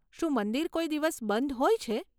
શું મંદિર કોઈ દિવસ બંધ હોય છે?